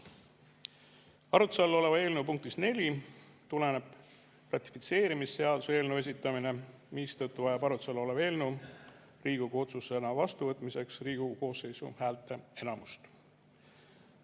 Arutluse all oleva eelnõu punktist 4 tuleneb ratifitseerimisseaduse eelnõu esitamine, mistõttu vajab arutluse all olev eelnõu Riigikogu otsusena vastuvõtmiseks Riigikogu koosseisu häälteenamust.